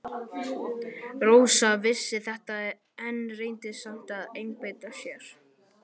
Rósa vissi þetta en reyndi samt að einbeita sér.